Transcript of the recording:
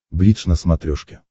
бридж на смотрешке